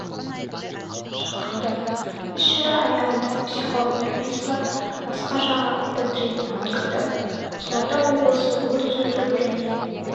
шақырды іс-шара аяғында психолог нұрпейісова басқа жағы атты тренинг өткізді қызылорда облысы өрт сөндіру және